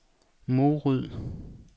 Morud